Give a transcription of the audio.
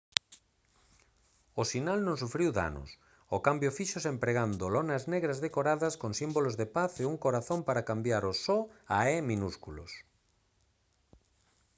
o sinal non sufriu danos; o cambio fíxose empregando lonas negras decoradas con símbolos da paz e un corazón para cambiar os «o» a «e» minúsculos